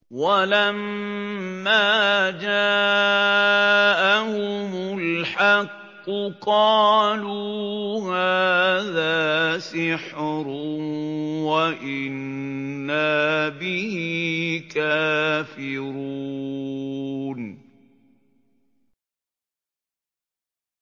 وَلَمَّا جَاءَهُمُ الْحَقُّ قَالُوا هَٰذَا سِحْرٌ وَإِنَّا بِهِ كَافِرُونَ